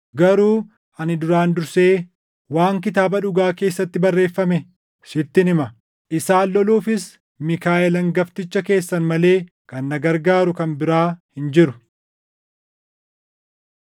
garuu ani duraan dursee waan Kitaaba Dhugaa keessatti barreeffame sittin hima. Isaan loluufis Miikaaʼel hangafticha keessan malee kan na gargaaru kan biraa hin jiru.